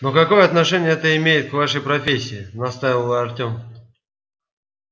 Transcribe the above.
но какое отношение это имеет к вашей профессии настаивал артём